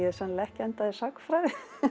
sennilega ekki endað í sagnfræði